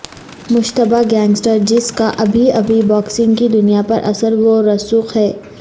مشتبہ گینگسٹر جس کا اب بھی باکسنگ کی دنیا پر اثر و رسوخ ہے